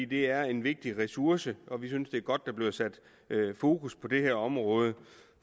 det er en vigtig ressource og vi synes det er godt at der bliver sat fokus på det her område